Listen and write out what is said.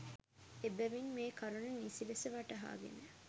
එබැවින් මේ කරුණ නිසිලෙස වටහාගෙන